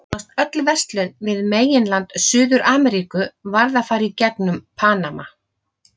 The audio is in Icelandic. Nánast öll verslun við meginland Suður-Ameríku varð að fara í gegnum Panama.